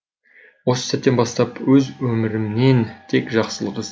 осы сәттен бастап өз өмірімнен тек жақсылық іздеймін